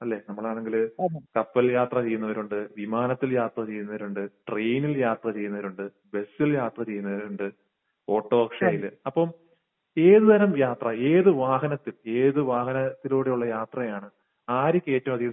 അല്ലെ? നമ്മളാണെങ്കിൽ കപ്പൽ യാത്ര ചെയ്യുന്നവരുണ്ട്, വിമാനത്തിൽ യാത്ര ചെയ്യുന്നവരുണ്ട്, ട്രെയിനിൽ യാത്ര ചെയ്യുന്നവരുണ്ട്, ബസിൽ യാത്ര ചെയ്യുന്നവരുണ്ട്, ഓട്ടോറിക്ഷയിൽ. അപ്പോൾ ഏത് തരം യാത്ര, ഏത് വാഹനത്തിൽ ഏത് വാഹനത്തിലൂടെയുള്ള യാത്രയാണ്. ആർക്ക് ഏറ്റവും അധികം